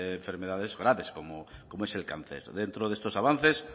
de enfermedades graves como es el cáncer dentro de estos avances